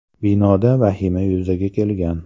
Binoda vahima yuzaga kelgan.